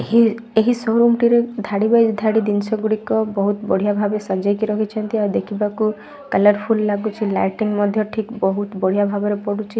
କ୍ଷୀର ଏହି ଟି ରେ ଧାଡ଼ି ବାଇ ଧାଡ଼ି ଜିନିଷ ଗୁଡ଼ିକ ବହୁତ ବଢିଆ ଭାବେ ସଜେଇକି ରଖିଛନ୍ତି ଆଉ ଦେଖିବାକୁ କଲରଫୁଲ ଲାଗୁଚି ଲାଇଟିଙ୍ଗ ମଧ୍ୟ ଠିକ ବହୁତ ବଢିଆ ଭାବରେ ପଡୁଛି।